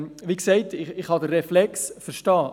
Ich kann den Reflex, wie gesagt, verstehen.